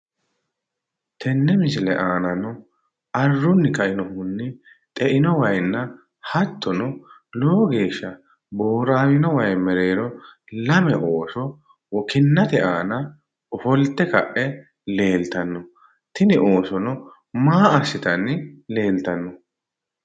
Tenne misile aanano arrunni kainohunni xeino waayinna hattono lowo geeshsha booraawino wayi mereero lame ooso kinnate aana ofolte leeltanno. Tini oosono maa assitanni leeltanno?